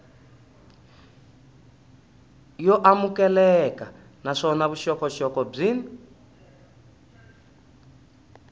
yo amukeleka naswona vuxokoxoko byin